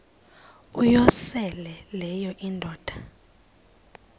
uyosele leyo indoda